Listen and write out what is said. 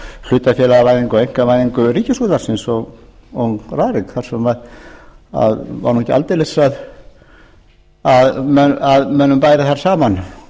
hlutafélagavæðingu og einkavæðingu ríkisútvarpsins og rarik þar sem var nú ekki aldeilis að mönnum bæri þar saman